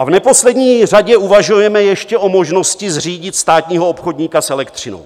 A v neposlední řadě uvažujeme ještě o možnosti zřídit státního obchodníka s elektřinou.